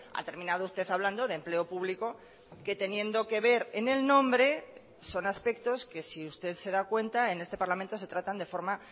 ha terminado usted hablando de empleo público que teniendo que ver en el nombre son aspectos que si usted se da cuenta en este parlamento se tratan de forma